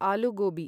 आलू gobi